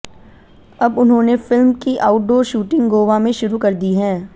अब उन्होंने फिल्म की आउडडोर शूटिंग गोवा में शुरू कर दी है